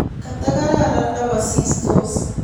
Katagararan ndikasistos